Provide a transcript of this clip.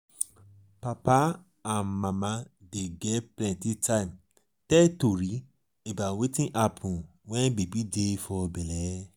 papa and mama dey get plenty time tell tori about wetin happun wen baby dey for belle.